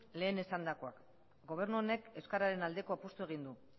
lehen esandakoa gobernu honek euskararen aldeko apustua egin du